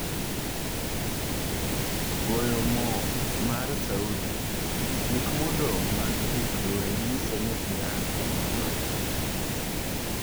Goyo mo mar Saudi: Gik modong' mag gik lweny 'nyiso ni Iran ne odonjore'